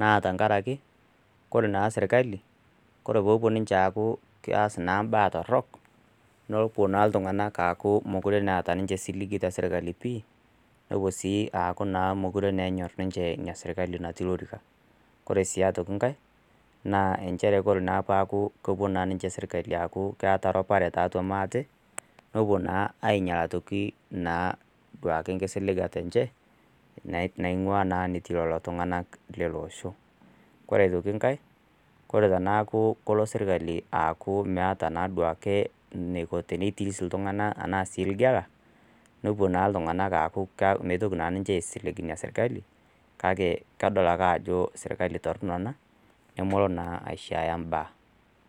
na tankaraki kore naa sirkali kore popuo ninche aaku keas naa imbaa torrok nopuo naa iltung'anak aaku mokure naa ata ninche siligi te sirkali pii newuo sii aaku naa mokure naa enyorr inia sirkali natii lorika kore sii atoki nkae naa enchere kore naa paku kopuo naa ninche sirkali aaku keata rupare tiatua maate nopuo naa ainyial atoki naa duake nkisiligata enche naing'ua naa netii lolo tung'anak lele osho kore aitoki nkae kore tenaku kolo sirkali aaku meata naa duake neiko teneitis iltung'ana ana sii ilgela nopuo naa iltung'anak aaku ka meitoki naa ninche aisilig inia sirkali kake kedol ake ajo sirkali torrono nemolo naa aishiaya imbaa.